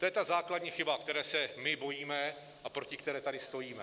To je ta základní chyba, které se my bojíme a proti které tady stojíme.